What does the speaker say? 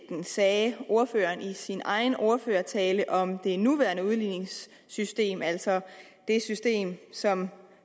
sagde ordføreren i sin egen ordførertale om det nuværende udligningssystem altså det system som